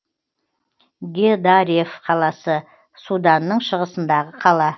гедареф қаласы суданның шығысындағы қала